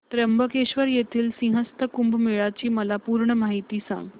त्र्यंबकेश्वर येथील सिंहस्थ कुंभमेळा ची मला पूर्ण माहिती सांग